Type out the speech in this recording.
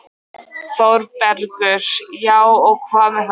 ÞÓRBERGUR: Já, og hvað með það?